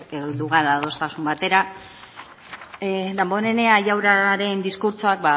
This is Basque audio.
heldu gara adostasun batera damborenea jaunaren diskurtsoak